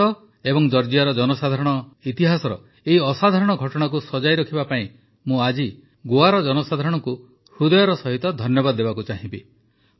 ଭାରତ ଓ ଜର୍ଜିଆର ସାଧାରଣ ଇତିହାସର ଏହି ଅସାଧାରଣ ଘଟଣାକୁ ସଜାଇ ରଖିବା ପାଇଁ ମୁଁ ଆଜି ଗୋଆର ଜନସାଧାରଣଙ୍କୁ ହୃଦୟର ସହିତ ଧନ୍ୟବାଦ ଦେବାକୁ ଚାହିଁବି